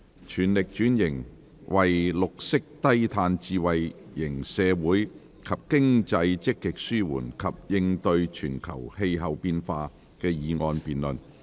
"全力轉型為綠色低碳智慧型社會及經濟積極紓緩及應對全球氣候變化"的議案辯論。